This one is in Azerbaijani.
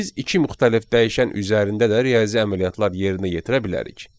Biz iki müxtəlif dəyişən üzərində də riyazi əməliyyatlar yerinə yetirə bilərik.